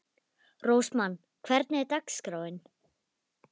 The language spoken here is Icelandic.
Rósmann, hvernig er dagskráin?